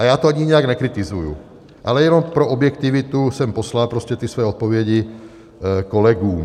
A já to ani nijak nekritizuji, ale jenom pro objektivitu jsem poslal prostě ty svoje odpovědi kolegům.